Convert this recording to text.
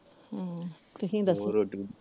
ਹਮ ਤੁਸੀਂ ਦੱਸੋ ਹੋਰ?